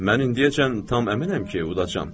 Mən indiyəcən tam əminəm ki, udacağam.